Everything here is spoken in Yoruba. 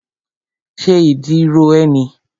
Ṣé ìdí ro ẹ́ ni?